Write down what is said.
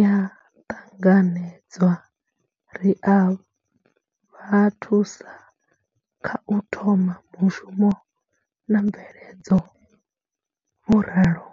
ya ṱanganedzwa, ri a vha thusa kha u thoma mushumo na mveledzo, vho ralo.